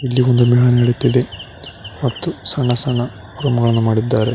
ಇಲ್ಲಿ ಒಂದು ಮೇಳ ನಡೆಯುತ್ತಿದೆ ಮತ್ತು ಸಣ್ಣ ಸಣ್ಣ ಮಾಡಿದ್ದಾರೆ.